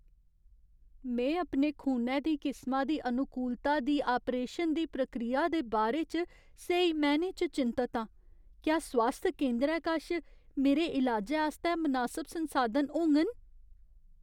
में अपने खूनै दी किसमा दी अनुकूलता दी आप्रेशन दी प्रक्रिया दे बारे च स्हेई मैह्‌नें च चिंतत आं। क्या स्वास्थ केंदरै कश मेरे इलाजै आस्तै मनासब संसाधन होङन?